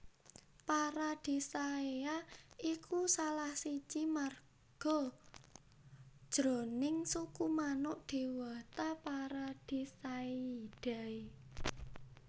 Paradisaea iku salah siji marga jroning suku manuk déwata Paradisaeidae